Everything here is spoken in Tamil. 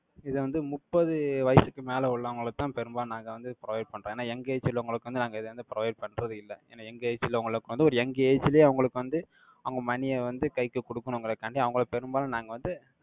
இதை வந்து முப்பது வயசுக்கு மேலே உள்ளவங்களுக்குத்தான் பெரும்பாலும் நாங்க வந்து provide பண்றோம். ஏன்னா, young age ல உங்களுக்கு வந்து நாங்க இதை வந்து provide பண்றது இல்லை. ஏன்னா, young age ல உங்களுக்கு வந்து ஒரு young age லயே அவங்களுக்கு வந்து, அவங்க money ய வந்து கைக்கு கொடுக்கணுங்கிறதுக்காண்டி அவங்களை பெரும்பாலும் நாங்க வந்து